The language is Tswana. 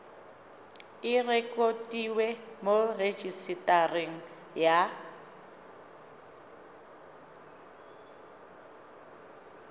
e rekotiwe mo rejisetareng ya